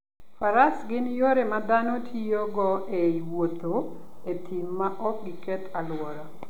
Faras gin yore ma dhano tiyogo e wuotho e thim maok giketh alwora.